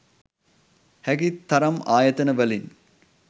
හැකි තරම් ආයතන වලින්